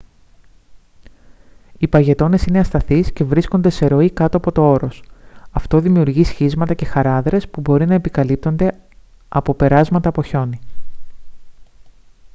οι παγετώνες είναι ασταθείς και βρίσκονται σε ροή κάτω από το όρος αυτό δημιουργεί σχίσματα και χαράδρες που μπορεί να επικαλύπτονται από περάσματα από χιόνι